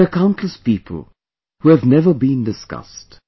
There are countless people who have never been discussed